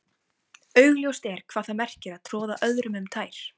Augljóst er hvað það merkir að troða öðrum um tær.